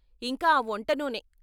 ఇంకా ఆ వంట నూనె!